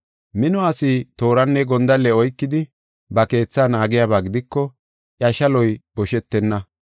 “Mino asi tooranne gondalle oykidi, ba keetha naagiyaba gidiko, iya shaloy boshetenna.